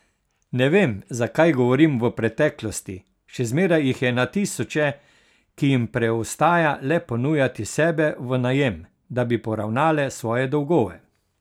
Ne vem, zakaj govorim v preteklosti, še zmeraj jih je na tisoče, ki jim preostaja le ponujati sebe v najem, da bi poravnale svoje dolgove.